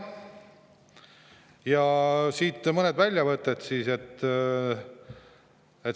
Ja siit mõned väljavõtted.